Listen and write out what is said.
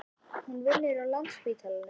Hún vinnur á Landspítalanum.